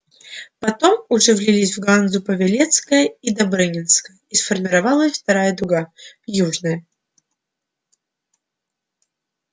потом уже влились в ганзу павелецкая и добрынинская и сформировалась вторая дуга южная